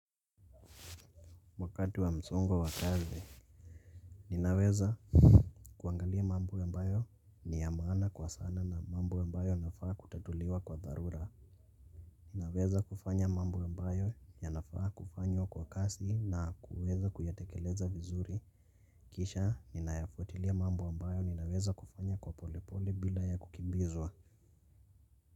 Wakati wa msongo wa kazi. Ninaweza kuangalia mambo ambayo ni ya maana kwa sana na mambo ambayo yanafaa kutatuliwa kwa dharura. Ninaweza kufanya mambo ambayo yanafaa kufanywa kwa kasi na kuweza kuyatekeleza vizuri. Kisha ninayafuatilia mambo ambayo ninaweza kufanya kwa polepole bila ya kukimbizwa.